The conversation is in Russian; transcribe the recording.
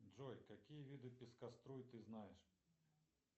джой какие виды пескоструй ты знаешь